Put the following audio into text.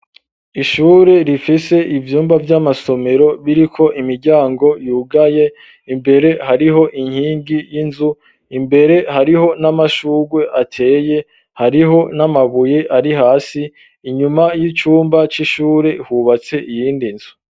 Ishure rifise ivyumba vy'amasomero biriko imiryango yugaye imbere hariho inkingi y'inzu imbere hariho n'amashurwe ateye hariho n'amabuye ari hasi inyuma y'icumba c'ishure hubatse iyindi nzu